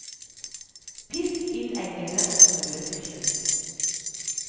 Pisk inn eggene og smøret til slutt.